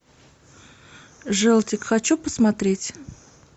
желтик хочу посмотреть